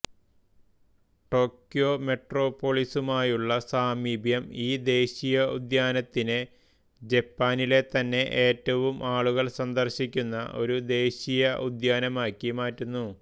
Tokyo മെട്രോപോളിസുമായുള്ള സാമീപ്യം ഈ ദേശീയോദ്യാനത്തിനെ ജപ്പാനിലെതന്നെ ഏറ്റവും ആളുകൾ സന്ദർശിക്കുന്ന ഒരു ദേശീയോദ്യാനമാക്കി മാറ്റുന്നു